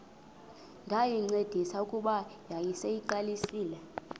ndayincedisa kuba yayiseyiqalisile